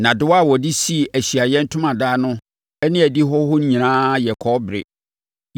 Nnadewa a wɔde sii Ahyiaeɛ Ntomadan no ne adihɔ hɔ no nyinaa yɛ kɔbere.